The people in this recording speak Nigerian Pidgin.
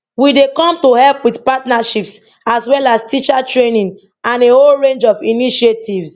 we dey come to help with partnerships as well teacher training and a whole range of initiatives